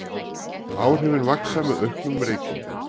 Áhrifin vaxa með auknum reykingum.